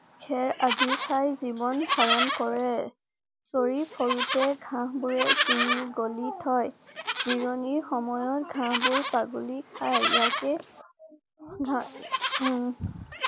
খেৰ আদি খাই জীৱন ধাৰণ কৰে । চৰি ফুৰোতে ঘাঁহ বোৰে চিঙি গলি থয়। জিৰণিৰ সময়ত ঘাঁবোৰ ছাগলীৰ খাই। ইয়াকে ঘা উম